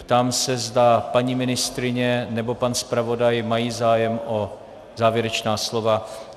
Ptám se, zda paní ministryně nebo pan zpravodaj mají zájem o závěrečná slova.